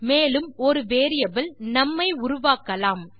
மேலும் ஒரு வேரியபிள் நும் ஐ உருவாக்கலாம்